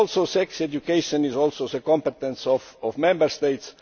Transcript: Sex education is also the competence of the Member States.